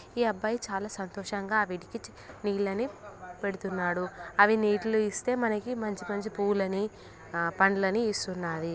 ఈ అబ్బాయి చాల సంతోషంగా వీటికి నీళ్ళని పెడుతున్నాడు .అవి నీటిని ఇస్తే మనకి మంచి మంచి పూలని ఆ పండ్లని ఇస్తున్నాయి.